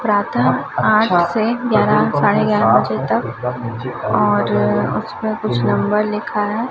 प्रातः आठ से ग्यारह साढ़े ग्यारह बजे तक और उस पे कुछ नंबर लिखा है।